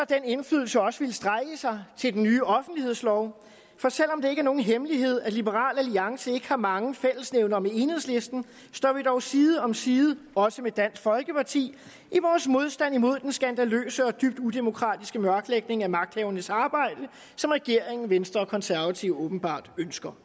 den indflydelse også ville strække sig til den nye offentlighedslov for selv om det ikke er nogen hemmelighed at liberal alliance ikke har mange fællesnævnere med enhedslisten står vi dog side om side også med dansk folkeparti i vores modstand mod den skandaløse og dybt udemokratiske mørklægning af magthavernes arbejde som regeringen venstre og konservative åbenbart ønsker